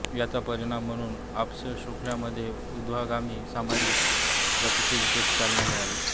याचा परिणाम म्हणून अस्पृश्यांमध्ये ऊर्ध्वगामी सामाजिक गतिशीलतेस चालना मिळाली